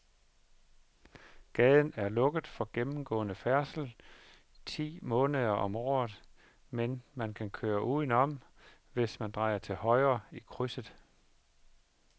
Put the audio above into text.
Gaden er lukket for gennemgående færdsel ti måneder om året, men man kan køre udenom, hvis man drejer til højre i krydset.